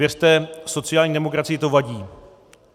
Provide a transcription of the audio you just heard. Věřte, sociální demokracii to vadí.